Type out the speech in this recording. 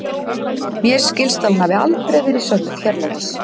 Mér skilst að hún hafi aldrei verið sönnuð hérlendis.